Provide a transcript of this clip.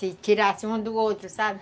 Se tirasse um do outro, sabe?